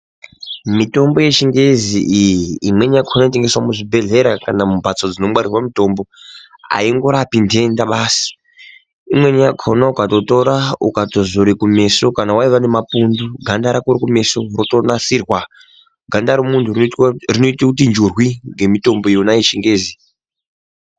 Mitombo yechingezi iyi imweni yakhona. inotengeswa muzvibhedhlera kana mimbatso dzinotengeswa mitombo haingorapi ndenda basi imweni yakona kana ukatora ukatozora kumeso kana waiva nemapundu ganda rako rekumeso rotonasirwa ganda remuntu rinoita kuti njurwi ngemutombo yona yechingezi.